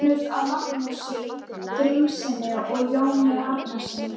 Söfnuð af Magnúsi Grímssyni og Jóni Árnasyni.